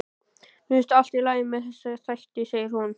Mér finnst allt í lagi með þessa þætti, segir hún.